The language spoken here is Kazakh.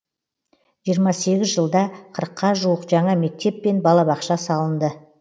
жиырма сегіз жылда қырыққа жуық жаңа мектеп пен балабақша салынды